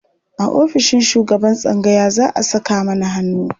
A ofishin shugaban tsangaya za a saka mana hannu.